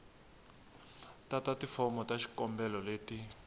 tata tifomo ta xikombelo leti